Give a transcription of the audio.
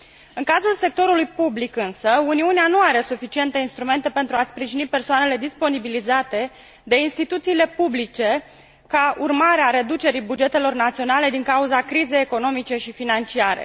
În cazul sectorului public, însă, Uniunea nu are suficiente instrumente pentru a sprijini persoanele disponibilizate de instituțiile publice ca urmare a reducerii bugetelor naționale din cauza crizei economice și financiare.